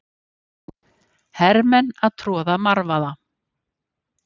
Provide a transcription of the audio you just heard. Hermenn að troða marvaða.